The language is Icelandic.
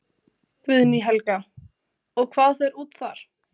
Guðný Helga: Og hvað fer út þar?